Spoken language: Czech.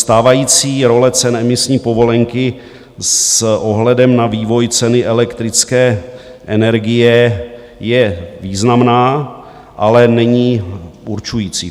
Stávající role cen emisní povolenky s ohledem na vývoj ceny elektrické energie je významná, ale není určující.